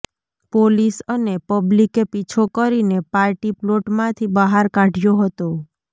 police અને પબ્લીકે પીછો કરીને પાર્ટીપ્લોટમાંથી બહાર કાઢયો હતો